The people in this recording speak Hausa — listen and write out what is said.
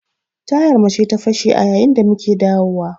Tayar mu ce ta fashe a yayin da muke dawo wa.